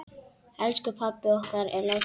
Elsku pabbi okkar er látinn.